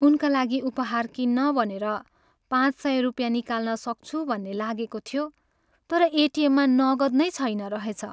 उनका लागि उपहार किन्न भनेर पाँच सय रुपियाँ निकाल्न सक्छु भन्ने लागेको थियो, तर एटिएममा नगद नै छैन रहेछ।